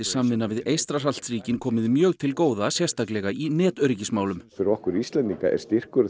samvinna við Eystrasaltsríkin komið mjög til góða sérstaklega í netöryggismálum fyrir okkur Íslendinga er styrkur